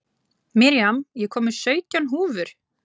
Miriam, ég kom með sautján húfur!